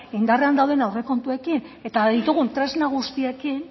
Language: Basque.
indarrean dauden aurrekontuekin eta ditugun tresna guztiekin